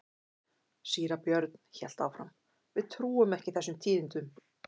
Síra Björn hélt áfram:-Við trúum ekki þessum tíðindum.